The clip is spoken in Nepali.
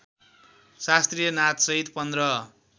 शास्त्रीय नाचसहित पन्ध्र